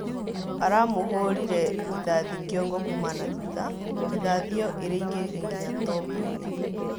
Aramũhũrirĩ rithathĩ kĩongo kuma na thutha, rithathi ĩyo ĩraĩngĩrire ngĩnya tombo-inĩ